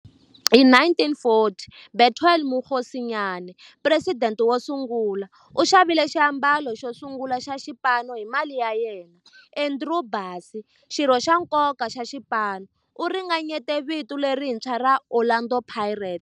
Hi 1940, Bethuel Mokgosinyane, president wosungula, u xavile xiambalo xosungula xa xipano hi mali ya yena. Andrew Bassie, xirho xa nkoka xa xipano, u ringanyete vito lerintshwa ra 'Orlando Pirates'.